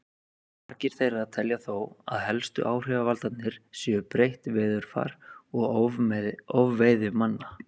margir þeirra telja þó að helstu áhrifavaldarnir séu breytt veðurfar og ofveiði manna